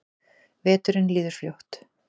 Veturinn líður fljótt.